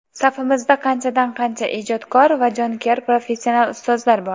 safimizda qanchadan-qancha ijodkor va jonkuyar professional ustozlar bor.